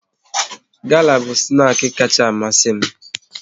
Gala bụ snaki kacha amasi m